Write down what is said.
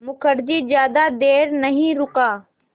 मुखर्जी ज़्यादा देर नहीं रुका